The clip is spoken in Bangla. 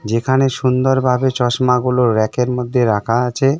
যেখানে সুন্দরভাবে চশমা গুলো রেকের মধ্যে রাখা আছে .